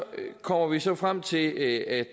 kommer vi så frem til at